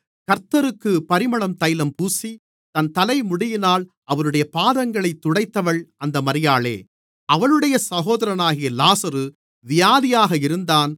கர்த்தருக்குப் பரிமளதைலம் பூசி தன் தலைமுடியால் அவருடைய பாதங்களைத் துடைத்தவள் அந்த மரியாளே அவளுடைய சகோதரனாகிய லாசரு வியாதியாக இருந்தான்